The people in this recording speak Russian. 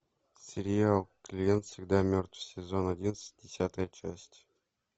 сериал клиент всегда мертв сезон одиннадцать десятая часть